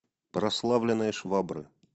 прославленные швабры